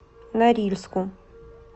норильску